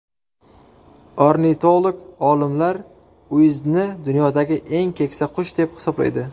Ornitolog olimlar Uizdni dunyodagi eng keksa qush deb hisoblaydi.